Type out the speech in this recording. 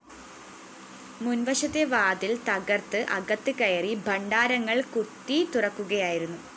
മുന്‍വശത്തെ വാതില്‍ തകര്‍ത്ത് അകത്ത് കയറി ഭണ്ഡാരങ്ങള്‍ കുത്തിത്തുറക്കുകയായിരുന്നു